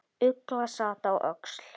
Ugla sat á öxl.